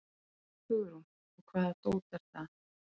Hugrún: Og hvaða dót er það?